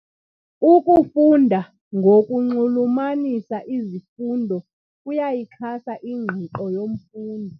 Ukufunda ngokunxulumanisa izifundo kuyayixhasa ingqiqo yomfundi.